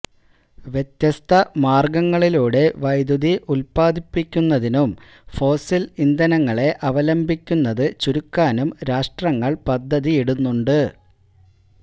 വ്യത്യസ്ത മാര്ഗങ്ങളിലൂടെ വൈദ്യുതി ഉത്പാദിപ്പിക്കുന്നതിനും ഫോസില് ഇന്ധനങ്ങളെ അവലംബിക്കുന്നത് ചുരുക്കാനും രാഷ്ട്രങ്ങള് പദ്ധതിയിടുന്നുണ്ട്